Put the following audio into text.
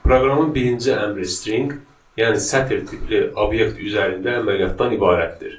Proqramın birinci əmri string, yəni sətir tipli obyekt üzərində əməliyyatdan ibarətdir.